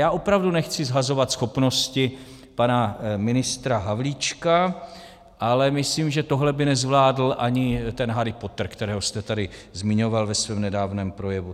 Já opravdu nechci shazovat schopnosti pana ministra Havlíčka, ale myslím, že tohle by nezvládl ani ten Harry Potter, kterého jste tady zmiňoval ve svém nedávném projevu.